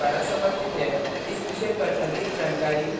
इस mission पर अधिक जानकारी यहां उपलब्ध है